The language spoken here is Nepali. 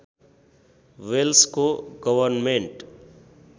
वेल्सको गवर्नमेन्ट